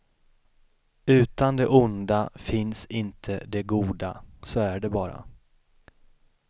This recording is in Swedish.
Utan det onda finns inte det goda, så är det bara.